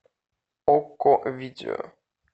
окко видео